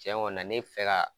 Tiɲɛ ŋɔ na ne fɛ ka